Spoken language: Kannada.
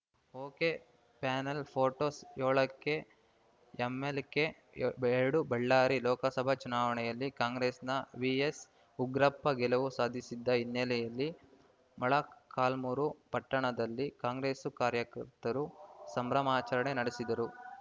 ಒಕೆಪ್ಯಾನೆಲ್‌ ಪೋಟೋಸ್ ಏಳಕೆಎಂಎಲ್‌ಕೆ ಎರಡು ಬಳ್ಳಾರಿ ಲೋಕಸಭಾ ಚುನಾವಣೆಯಲ್ಲಿ ಕಾಂಗ್ರೆಸ್‌ನ ವಿಎಸ್‌ ಉಗ್ರಪ್ಪ ಗೆಲುವು ಸಾಧಿಸಿದ್ದ ಹಿನ್ನೆಲೆಯಲ್ಲಿ ಮೊಳಕಾಲ್ಮುರು ಪಟ್ಟಣದಲ್ಲಿ ಕಾಂಗ್ರೆಸ್‌ ಕಾರ್ಯಕರ್ತರು ಸಂಭ್ರಮಾಚರಣೆ ನಡೆಸಿದರು